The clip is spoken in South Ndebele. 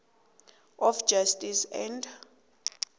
of justice and